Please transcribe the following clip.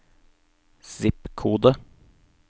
zip-kode